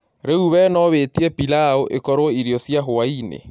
Rĩu we no wĩĩtĩe pĩlau ĩkorwoĩrĩo cĩa hwaĩnĩ